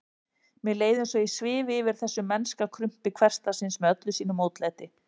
Mér leið eins og ég svifi yfir þessu mennska krumpi hversdagsins með öllu sínu mótlæti.